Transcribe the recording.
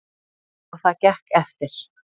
Og það gekk eftir.